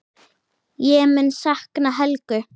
Ég mun sakna Helgu.